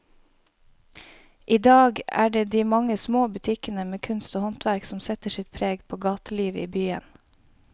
I dag er det de mange små butikkene med kunst og håndverk som setter sitt preg på gatelivet i byen.